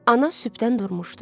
Ana sübdən durmuşdu.